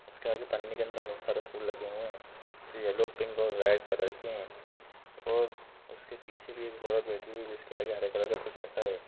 इसके आगे पन्नी के अंदर बहोत सारे फूल लगे हुऐ है की येलो पिंक और रेड कलर के है और उसके पीछे भी एक औरत बैठी हुई जिसके हरे कलर का कुछ रखा है।